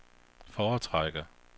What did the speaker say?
foretrækker